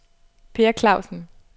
Peer Klausen